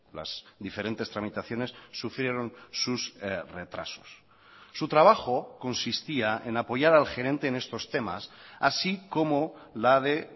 las diferentes tramitaciones sufrieron sus retrasos su trabajo consistía en apoyar al gerente en estos temas así como la de